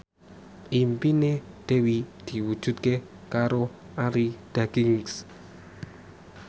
impine Dewi diwujudke karo Arie Daginks